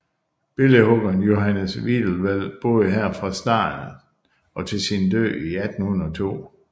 Billedhuggeren Johannes Wiedewelt boede her fra starten og til sin død i 1802